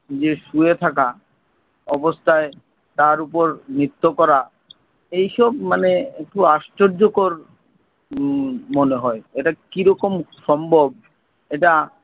যে শুয়ে থাকা অবস্থায় তার উপর নৃত্য করা এইসব মানে একটু আশ্চর্য কর উম মনে হয় । এটা কী রকম সম্ভব এটা